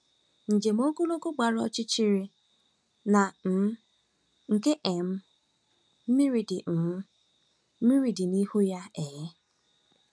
Njem ogologo gbara ọchịchịrị na um nke um mmiri dị um mmiri dị n'ihu ya um.